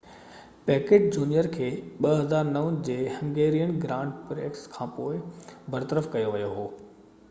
packet junior کي 2009 جي Hungarian grand prix کانپوءِ برطرف ڪيو ويو هو